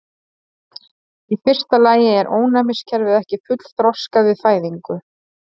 Í fyrsta lagi er ónæmiskerfið ekki fullþroskað við fæðingu.